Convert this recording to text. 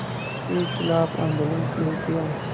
के ख़िलाफ़ आंदोलन शुरू किया